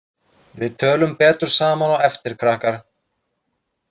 Við tölum betur saman á eftir, krakkar.